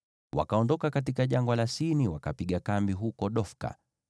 Wakaondoka katika Jangwa la Sini, wakapiga kambi huko Dofka.